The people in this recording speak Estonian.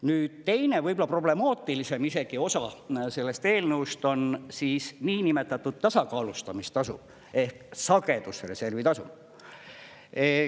Nüüd teine, võib-olla isegi problemaatilisem osa sellest eelnõust on siis niinimetatud tasakaalustamistasu ehk sagedusreservitasu.